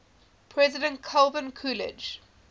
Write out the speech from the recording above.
president calvin coolidge